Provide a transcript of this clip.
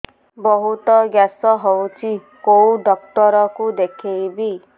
ବହୁତ ଗ୍ୟାସ ହଉଛି କୋଉ ଡକ୍ଟର କୁ ଦେଖେଇବି